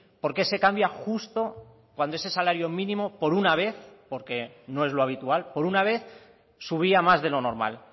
por qué se cambia justo cuando ese salario mínimo por una vez porque no es lo habitual por una vez subía más de lo normal